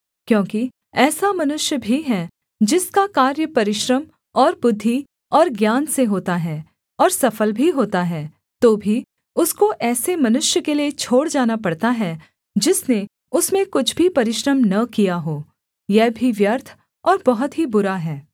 क्योंकि ऐसा मनुष्य भी है जिसका कार्य परिश्रम और बुद्धि और ज्ञान से होता है और सफल भी होता है तो भी उसको ऐसे मनुष्य के लिये छोड़ जाना पड़ता है जिसने उसमें कुछ भी परिश्रम न किया हो यह भी व्यर्थ और बहुत ही बुरा है